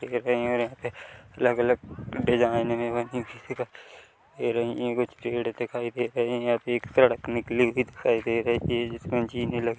गिर गई और यहाँ पे अलग - अलग डिज़ाइनें भी बनी हुई दिखा दे रही है कुछ पेड़ दिखाई दे रहे है यहाँ पे एक सड़क निकली हुई दिखाई दे रही है जिसमें जीने लगे --